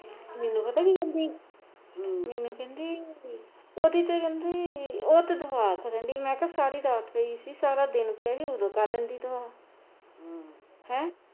ਮੈਨੂੰ ਪਤਾ ਕਿ ਕਹਿੰਦੀ ਮੈਨੂੰ ਕਹਿੰਦੀ ਓਹਦੀ ਤੇ ਕਹਿੰਦੀ ਉਹ ਤੇ ਦਿਮਾਗ ਮੈਂ ਕਿਹਾ ਸਾਰੀ ਰਾਤ ਗਈ ਸੀ ਸਾਰਾ ਦਿਨ ਪਿਆ ਓਦੋ ਕਰ ਲੈਂਦੀ ਤੂੰ ਹੈਂ